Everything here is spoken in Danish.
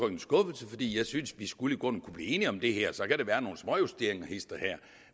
en skuffelse fordi jeg synes vi skulle kunne blive enige om det her så kan der være nogle småjusteringer hist og her